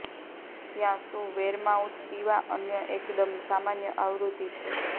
ત્યાં શું વેરમાઉથ પીવા અન્ય એકદમ સામાન્ય આવૃત્તિ છે